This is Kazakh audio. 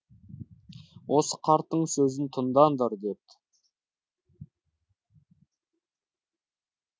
осы қарттың сөзін тыңдаңдар депті